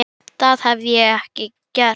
Það hefði ég ekki gert.